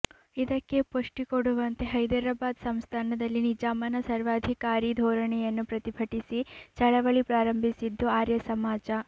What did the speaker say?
ಇದಕ್ಕೆ ಪುಷ್ಟಿಕೊಡುವಂತೆ ಹೈದರಾಬಾದ್ ಸಂಸ್ಥಾನದಲ್ಲಿ ನಿಜಾಮನ ಸರ್ವಾಧಿಕಾರೀ ಧೋರಣೆಯನ್ನು ಪ್ರತಿಭಟಿಸಿ ಚಳವಳಿ ಪ್ರಾರಂಭಿಸಿದ್ದು ಆರ್ಯಸಮಾಜ